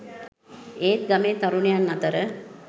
ඒත් ගමේ තරුණයන් අතර